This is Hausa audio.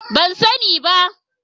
Ban sani ba.